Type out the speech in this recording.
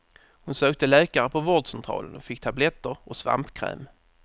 Hon sökte läkare på vårdcentralen och fick tabletter och svampkräm.